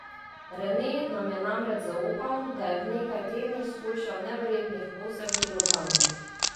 Rene nam je namreč zaupal, da je v nekaj tednih shujšal neverjetnih osem kilogramov.